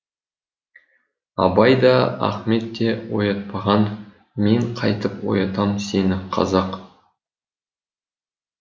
абай да ахмет те оятпаған мен қайтып оятамын сені қазақ